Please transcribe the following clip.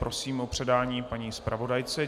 Prosím o předání paní zpravodajce.